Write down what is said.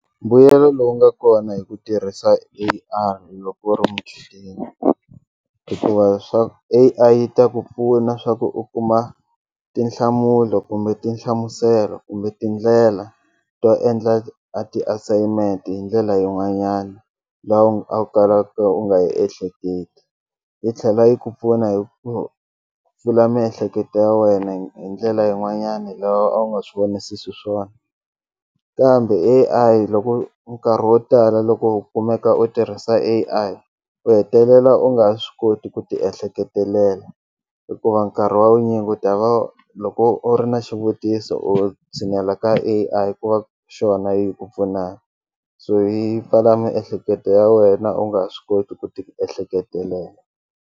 Mbuyelo lowu nga kona hi ku tirhisa A_I loko u ri muchudeni hikuva swaku A_I yi ta ku pfuna swa ku u kuma tinhlamulo kumbe tinhlamuselo kumbe tindlela to endla a ti-assignment hi ndlela yin'wanyana leyi a wu kalaka u nga yi ehleketi yi tlhela yi ku pfuna hi ku pfula miehleketo ya wena hi ndlela yin'wanyani lawa a wu nga swi vonisisi swiswona kambe A_I loko nkarhi wo tala loko u kumeka u tirhisa A_I u hetelela u nga swi koti ku ti ehleketelela hikuva nkarhi wa vunyingi u ta va loko u ri na xivutiso u tshinela ka A_I ku va xona yi ku pfunaka so yi pfala miehleketo ya wena u nga swi koti ku ti ehleketelela.